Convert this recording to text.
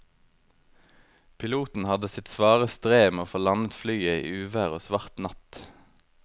Piloten hadde sitt svare strev med å få landet flyet i uvær og svart natt.